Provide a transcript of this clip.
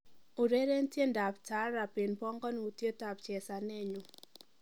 ureren tiendab taarab en bongonutietab chezanenyun